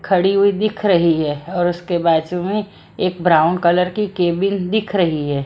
खड़ी हुई दिख रही है और उसके बाजू में एक ब्राउन कलर की कैबिन दिख रही है।